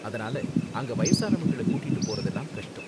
அதனால அங்க வயசானவங்கள கூட்டிட்டு போறதலாம் கஷ்டம்